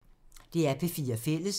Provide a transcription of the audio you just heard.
DR P4 Fælles